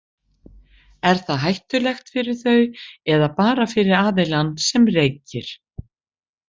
Er það hættulegt fyrir þau eða bara fyrir aðilann sem reykir?